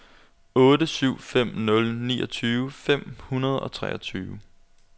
otte syv fem nul niogtyve fem hundrede og treogtyve